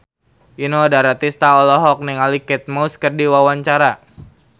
Inul Daratista olohok ningali Kate Moss keur diwawancara